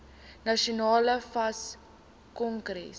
nasionale fas kongres